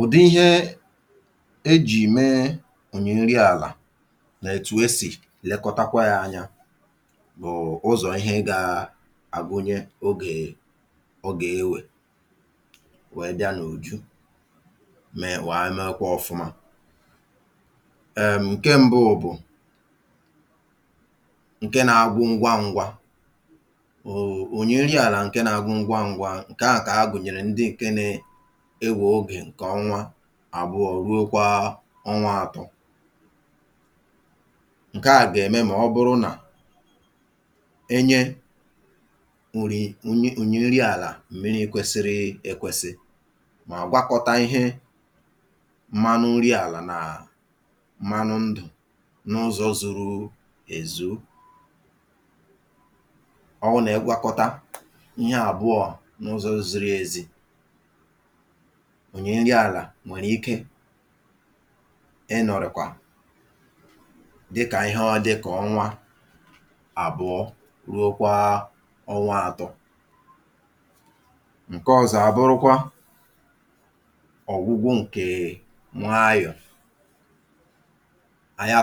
Ụ̀dị̀ ihe ejì mee ònyè nri àlà nà òtù esi lekọ́tà ya na-ekpebi oge ọ̀ gà-adịrị ma ọ bụ otú ọ̀ gà-abara uru. Ụ̀dị̀ mbù bụ́ nke na-apụ n’anya ngwa ngwa. Ụ̀dị̀ ònyè nri àlà a na-agbàpụ n’ime ọnwa àbụọ̀ ruo ọnwa atọ. Nke a gà-eme ma ọ bụrụ́ na e lekọ́tara ya nke ọma, dịkà itinye ònyè nri anụ̀mànụ̀ nà ịgwakọta ya nke ọma na ihe ndù n’ụzọ̀ zìrì ezi. Ọ bụrụ́ na a gwakọtara ihe abụọ ahụ nke ọma um, ònyè nri àlà ahụ nwere ike dịrị ma bụrụ́ ihe bara uru ruo ọnwa àbụọ̀ ruo ọnwa atọ. Ụ̀dị̀ ọzọ na-ewe ogologo oge ịgbàpụ. Ụ̀dị̀ a nwere ike were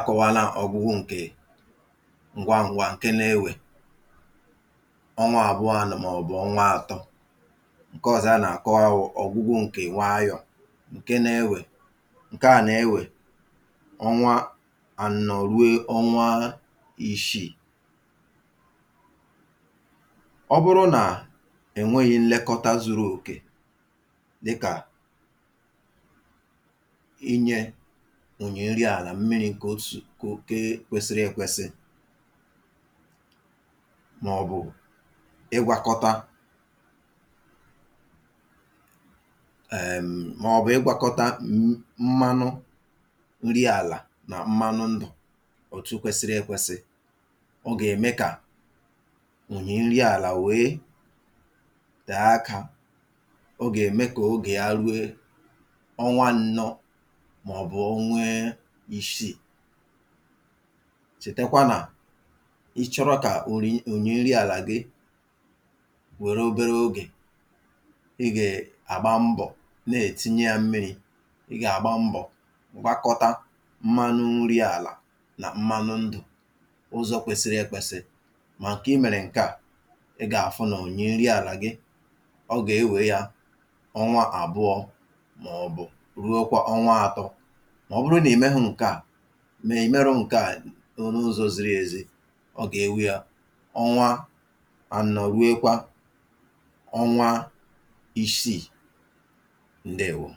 ọnwa àbụọ̀ ruo ọnwa atọ, ma ọ na-ewekarị ọnwa anọ̀ ruo ọnwa iri ma ọ bụrụ́ na enweghí nlekọta zuru oke, dịkà itinye mmiri ma ọ bụ ịgwakọta ònyè nri àlà nke ọma na ihe ndù. Ọ bụrụ́ na e jìkwaghị ya nke ọma um, ònyè nri àlà ahụ ga-ada ike, oge ojiji ya ga-agbatị ruo ọnwa isii maọ̀bụ̀ ọbụ̀na ọnwa iri. Cheta, ọ bụrụ́ na ịchọrọ ka ònyè nri àlà gị dị njikere n’ime obere oge, ị gà-agba mbọ̀ gwakọta ònyè nri anụ̀mànụ̀ na ihe ndù nke ọma. Ọ bụrụ́ na ị mere nke a um, ị gà-ahụ̀ na ònyè nri àlà gị gà-adi njikere n’ime ọnwa àbụọ̀ ruo ọnwa atọ. Ma ọ bụrụ́ na e meghị ya nke ọma n’ụzọ̀ zìrì ezi, ọ gà-ewe ọnwa anọ̀ maọ̀bụ̀ ọbụ̀na karịa ọnwa iri tupu ọ bụrụ́ ihe bara uru kpamkpam.